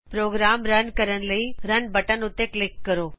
programme run ਕਰਨ ਲਈ run button ਉੱਤੇ ਕਲਿਕ ਕਰੋ